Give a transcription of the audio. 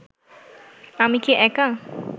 আমি কি একা